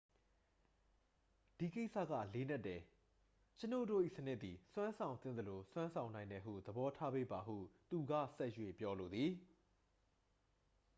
"""ဒီကိစ္စက လေးနက်တယ်။ ကျွန်ုပ်တို့၏စနစ်သည် စွမ်းဆောင်သင့်သလို စွမ်းဆောင်နိုင်တယ်ဟု သဘောထားပေးပါ” ဟု သူက ဆက်၍ ပြောလိုသည်။